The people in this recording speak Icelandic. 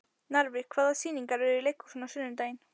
Narfi, hvaða sýningar eru í leikhúsinu á sunnudaginn?